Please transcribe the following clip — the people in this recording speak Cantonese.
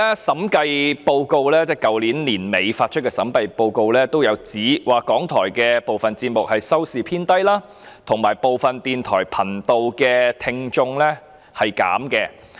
審計署於去年年底發出的審計報告書指出，港台部分節目的收視偏低，以及部分電台頻道的聽眾減少。